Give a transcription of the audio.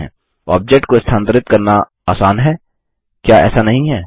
object को स्थानांतरित करना आसान हैक्या ऐसा नहीं है